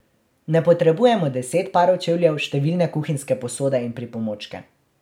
Ne potrebujemo deset parov čevljev, številne kuhinjske posode in pripomočke ...